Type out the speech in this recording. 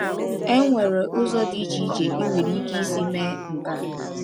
Enwere ụzọ dị iche iche i nwere ike isi mee nke a.